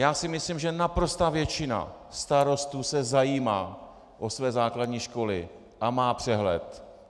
Já si myslím, že naprostá většina starostů se zajímá o své základní školy a má přehled.